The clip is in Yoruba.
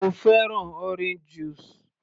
Mo fẹ́ràn orange juice